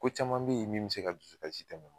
Ko caman be ye min bi se ka dusukasi tɛmɛ.